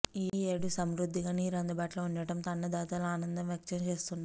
ఈ ఏడు సమృద్ధిగా నీరు అందుబాటులో ఉండటంతో అన్నదాతలు ఆనందం వ్యక్తం చేస్తున్నరు